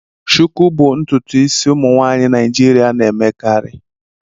Shuku bụ ntutu isi ụmụ nwaanyị Naijiria na-emekarị.